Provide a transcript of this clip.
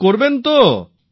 দূর করবেন তো